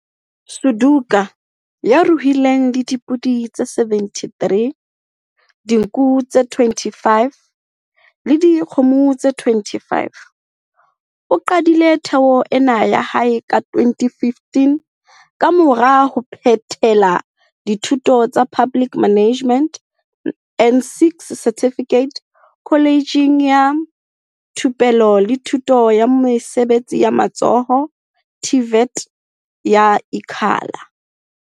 Suduka, ya ruileng le dipodi tse 73, dinku tse 25 le dikgomo tse 25, o qadile thuo ena ya hae ka 2015 kamora ho phethela dithuto tsa Public Management N6 Certificate Kholejeng ya Thupelo le Thuto ya Mesebetsi ya Matsoho TVET ya Ikhala.